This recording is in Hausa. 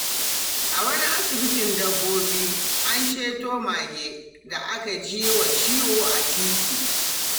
A wani asibitin dabbobi, an ceto mage da aka ji wa ciwo a titi.